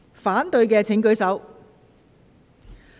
反對的請舉手。